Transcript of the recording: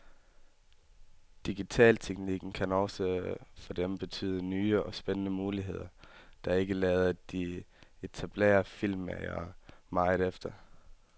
Digitalteknikken kan også for dem betyde nye og spændende muligheder, der ikke lader de etablerede filmmagere meget efter.